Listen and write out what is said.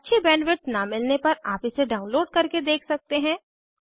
अच्छी बैंडविड्थ न मिलने पर आप इसे डाउनलोड करके देख सकते हैं